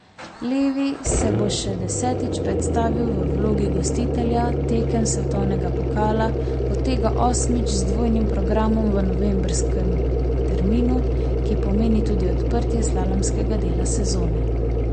Levi se bo še desetič predstavil v vlogi gostitelja tekem svetovnega pokala, od tega osmič z dvojnim programom v novembrskem terminu, ki pomeni tudi odprtje slalomskega dela sezone.